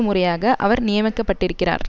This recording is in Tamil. முறையாக அவர் நியமிக்கப்பட்டிருக்கிறார்